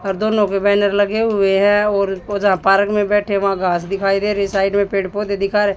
और दोनों पे बैनर लगे हुएं हैं और वो जहां पार्क में बैठे वहां घास दिखाई दे रही साइड में पेड़ पौधे दिखा रहे--